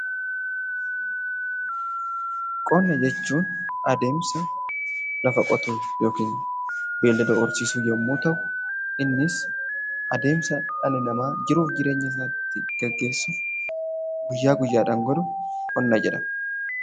Qonna jechuun adeemsa lafa qotuu yookiin beeylada horsiisuu yommuu ta'u, innis adeemsa dhalli namaa jiruu fi jireenya isaa ittiin geggeessu, guyyaa guyyaadhaan godhu ,qonna jedhama.